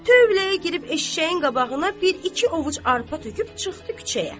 Tövləyə girib eşşəyin qabağına bir iki ovuc arpa töküb çıxdı küçəyə.